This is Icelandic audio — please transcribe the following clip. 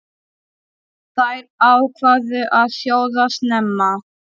Þær ákváðu að sjóða snemma.